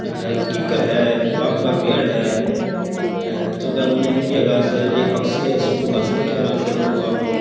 कीकर है आम का पेड़ है घास है एक पक्षी है सुखो घास पर बैठयो है आराम उ बापड़ो।